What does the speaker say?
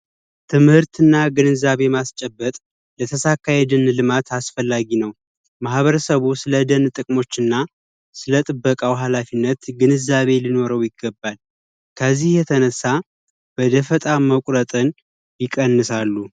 ትምህርትና ግንዛቤ ማስጨበጥ ለተሳካ ልማት አስፈላጊ ነው። ማህበረሰቡ ስለደን ጥቅሞች ስለጥበቃው አስፈላጊነት ግንዛቤ ሊኖረው ይገባል። በዚህ የተነሳ በደፈጣ መቁረጥን ይቀንሳሉ።